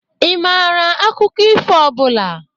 Ị mara akụkọ ifo ọbụla?